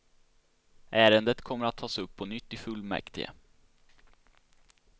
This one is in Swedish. Ärendet kommer att tas upp på nytt i fullmäktige.